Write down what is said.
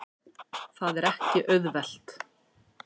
Það er ekki auðvelt.